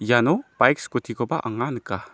iano baik scooty-koba anga nika.